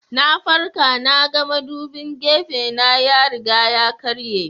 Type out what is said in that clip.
Na farka na ga madubin gefena ya riga ya karye.